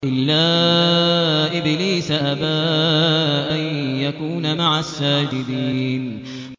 إِلَّا إِبْلِيسَ أَبَىٰ أَن يَكُونَ مَعَ السَّاجِدِينَ